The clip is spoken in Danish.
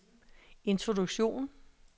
introduktion